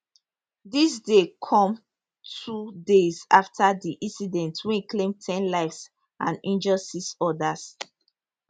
dis dey come two days afta di incident wey claim ten lives and injure six odas